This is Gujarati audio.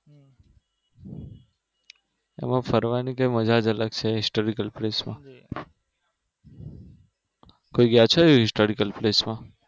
એમાં ફરવાની કઈક મજા જ અલગ છે historical place માં. કોઈ ગયા છો historical placeમાં?